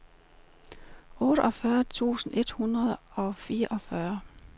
otteogfyrre tusind et hundrede og fireogfyrre